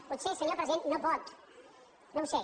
potser senyor president no pot no ho sé